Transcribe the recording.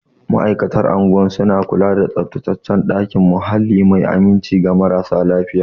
Ma'aikatan unguwar suna kula da tsaftataccen muhalli mai aminci ga marasa lafiya.